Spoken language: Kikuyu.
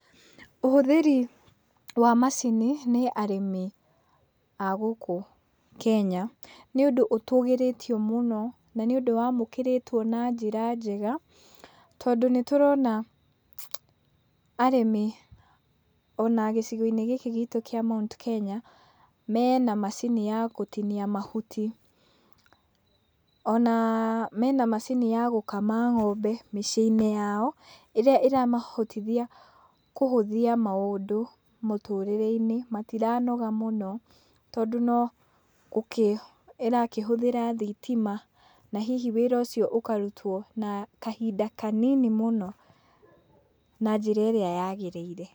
Ũhũthĩri wa macini nĩ arĩmi a gũkũ Kenya nĩ ũndũ ũtũgĩrĩtio mũno na nĩ ũndũ wa mũkĩrĩtwo na njĩra njega, tondũ nĩ tũrona arĩmi ona gĩcigo-inĩ gũkũ gitũ kĩa Mt.Kenya mena macini ya gũtinia mahuti, ona mena macini ya gũkama ng'ombe mĩciĩnĩ yao, ĩrĩa ĩra mahotithia kũhũthia maũndũ mũtũrĩre-inĩ matiranoga mũno tondũ, no ĩrakĩhũthĩra thitima na hihi wĩra ũcio ũkarutwo na kahinda kanini mũno na njĩra ĩrĩa ya gĩrĩire.